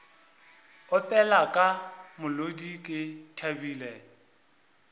opela ka molodi ke thabile